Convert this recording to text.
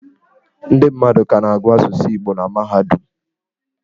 Ndị mmadụ ka na-agụ asụsụ Igbo na mahadum.